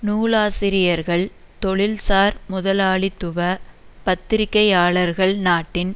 நூலாசிரியர்கள் தொழில்சார் முதலாளித்துவ பத்திரிகையாளர்கள் நாட்டின்